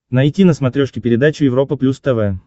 найти на смотрешке передачу европа плюс тв